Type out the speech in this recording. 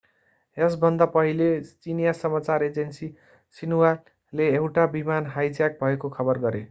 यसभन्दा पहिले चिनियाँ समाचार एजेन्सी xinhuaले एउटा विमान हाइज्याक भएको खबर गरे।